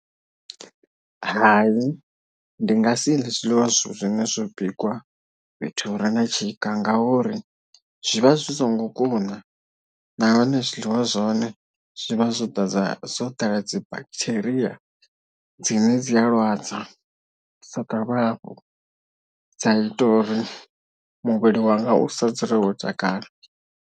Hai ndi nga si ḽe zwiḽiwa zwine zwo bikwa fhethu hu re na tshika ngauri zwi vha zwi songo kuna nahone zwiḽiwa zwahone zwivha zwo ḓadza zwo ḓala dzi bacteria dzine dzi a lwadza soka hafhu dza ita uri muvhili wanga u sa dzule wo takala.